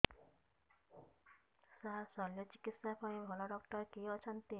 ସାର ଶଲ୍ୟଚିକିତ୍ସା ପାଇଁ ଭଲ ଡକ୍ଟର କିଏ ଅଛନ୍ତି